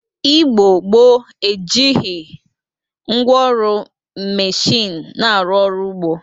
Igbo gboo e jighiri ngwa ọrụ mmechini na-arụ ọrụ ugbo